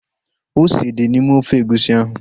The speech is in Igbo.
Ose dị n'ime ofe egusi ahu